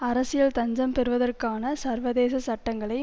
அரசியல் தஞ்சம் பெறுவதற்கான சர்வதேச சட்டங்களை